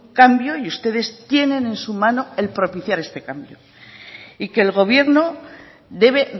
cambio y ustedes tienen en su mano el propiciar este cambio y que el gobierno debe